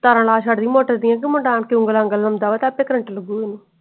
ਤਾਰਾ ਲਾ ਛਡਿ ਏ ਮੋਟਰ ਦੀਆ ਕ ਮੁੰਡਾ ਆਣਕੇ ਉਂਗਲ ਅੰਗਲ ਲਾਉਂਦਾ ਵਾ ਤੇ current ਲਗੂ ਓਹਨੂੰ।